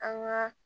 An ka